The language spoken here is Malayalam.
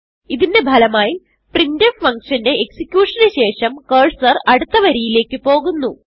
ഇതിന്റെ ഫലമായി പ്രിന്റ്ഫ് ഫങ്ഷന്റെ എക്സിക്യൂഷൻ ന് ശേഷം കർസർ അടുത്ത വരിയിലേക്ക് പോകുന്നു